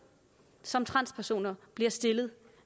som transpersoner bliver stillet